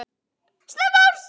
Snemma árs